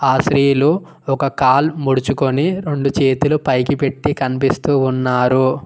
ఆ స్త్రీలు ఒక కాల్ ముడుచుకొని రెండు చేతులు పైకి పెట్టి కనిపిస్తూ ఉన్నారు.